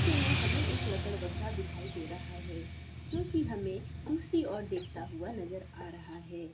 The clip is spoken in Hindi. के हमें एक लकड़बग्घा दिखाई दे रहा है जो कि हमें दूसरी और देखाता हुआ नजर आ रहा है।